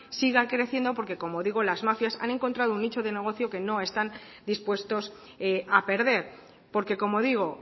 sigue creciendo porque como digo las mafias han encontrado un nicho de negocio que no están dispuestos a perder porque como digo